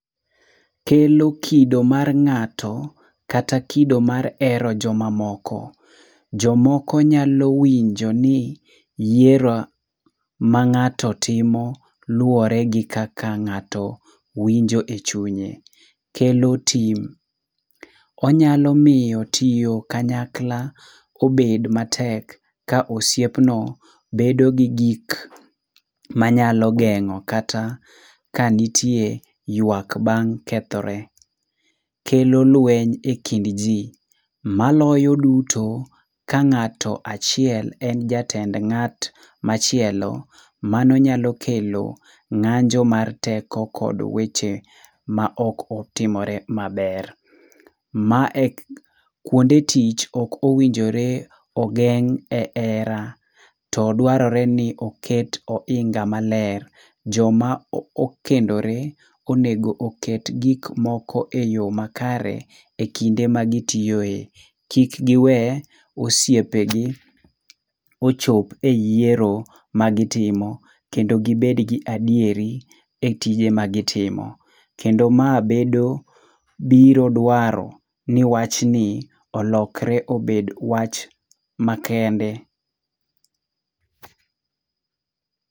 Kelo kido mar ng'ato, kata kido mar hero jomamoko. Jomoko nyalo winjo ni yiero ma ng'ato timo luwore gi kaka ng'ato winjo e chunye. Kelo tim. Onyalo miyo tiyo kanyakla obed matek ka osiepno bedo gi gik manyalo geng'o kata kanitie yuak bang' kethre. Kelolweny e kind ji. Maloyo duto, ka ng'ato achiel en jatend ng'at machielo, mano nyalo kelo ng'anjo mar teko kod weche maok otimore maber. Mae kuonde tich ok owinmjore ogeng' e hera, to dwarore ni oket oinga maler. Joma okendore onego oket gik moko eyo makare ekinde ma gitiyoe. Kik giwe osiepegi ochop e yiero magitimo kendo gibed gi adieri etije magitimo. Kendo ma bedo biro dwaro ni wachni olokre obed wach makende.